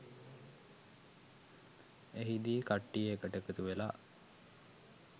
එහිදී කට්ටිය එකට එකතුවෙලා